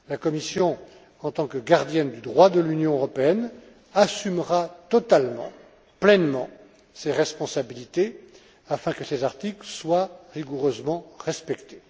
La Commission, en tant que gardienne du droit de l'Union européenne, assumera totalement, pleinement ses responsabilités afin que ces articles soient rigoureusement respectés.